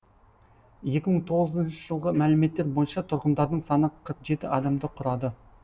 екі мың тоғызыншы жылғы мәліметтер бойынша тұрғындарының саны қырық жеті адамды құрады